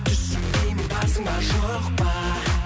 түсінбеймін барсың ба жоқ па